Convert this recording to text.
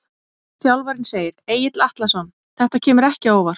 Þjálfarinn segir- Egill Atlason Þetta kemur ekki á óvart.